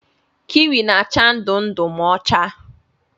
Kiwi na-acha ndụ ndụ ma ọ chaa.